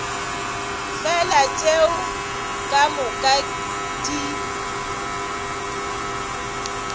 fela tšeo ka moka di